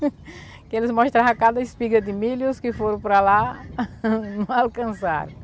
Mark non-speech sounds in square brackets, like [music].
Porque eles mostrava cada espiga de milho os que foram para lá, [laughs] não alcançaram.